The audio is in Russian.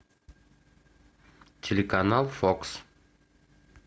телеканал фокс